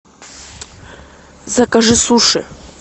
закажи суши